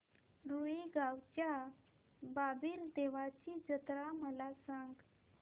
रुई गावच्या बाबीर देवाची जत्रा मला सांग